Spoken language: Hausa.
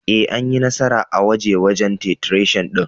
Ee, Anyi nasara a gwaje-gwajen titration din.